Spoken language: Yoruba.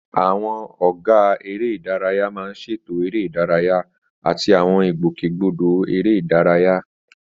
Àwọn ọ̀gá eré ìdárayá máa ń ṣètò eré ìdárayá àti àwọn ìgbòkègbodò eré ìdárayá.